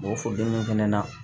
O fodonin fana na